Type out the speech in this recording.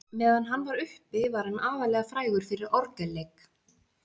Á meðan hann var uppi var hann aðallega frægur fyrir orgelleik.